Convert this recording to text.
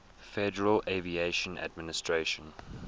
federal aviation administration